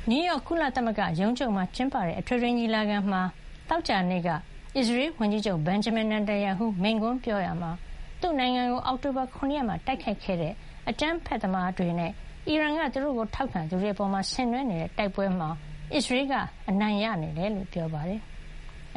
နယူးရောက် ကုလသမဂ္ဂရုံးချုပ်မှာကျင်းပတဲ့ အထွေထွေညီလာခံမှာ သောကြာနေ့က အစ္စရေးဝန်ကြီးချုပ် Benjamin Natanyahu မိန့်ခွန်းပြောရာမှာ၊ သူ့နိုင်ငံကို အောက်တိုဘာ ၇ ရက်မှာ တိုက်ခိုက်ခဲ့တဲ့ အကြမ်းဖက်သမားတွေနဲ့ အီရန်က သူ့တို့ကို ထောက်ခံသူတွေပေါ် ဆင်နွဲနေတဲ့ တိုက်ပွဲမှာ အစ္စရေးက အနိုင်ရနေကြောင်း ပြောပါတယ်။